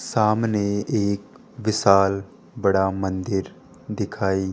सामने एक विशाल बड़ा मंदिर दिखाई--